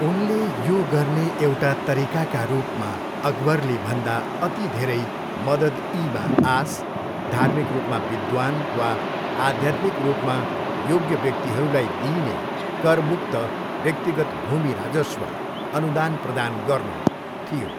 उनले यो गर्ने एउटा तरिकाका रूपमा अकबरले भन्दा अति धेरै मदद इ मा आस, धार्मिक रूपमा विद्वान वा आध्यात्मिक रूपमा योग्य व्यक्तिहरूलाई दिइने कर मुक्त व्यक्तिगत भूमि राजस्व अनुदान प्रदान गर्नु थियो।